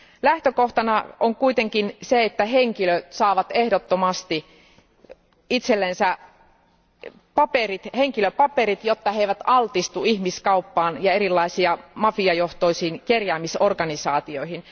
Lähtökohtana on kuitenkin se, että henkilöt saavat ehdottomasti itselleen henkilöpaperit, jotta he eivät altistu ihmiskaupalle ja erilaisille mafiajohtoisille kerjäämisorganisaatioille.